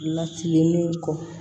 Latilen kɔ